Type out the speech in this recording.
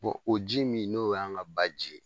o ji min n'o y'an ka ba ji ye.